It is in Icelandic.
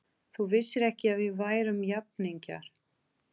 Þú vissir ekki að við værum jafningjar.